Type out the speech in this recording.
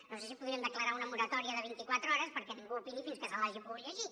no sé si podríem declarar una moratòria de vint i quatre hores perquè ningú opini fins que se l’hagi pogut llegir